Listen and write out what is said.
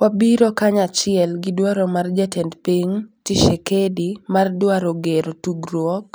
"wabiro kanyachiel gi dwaro mar jatend piny Tshisekedi mar dwaro gero tudruok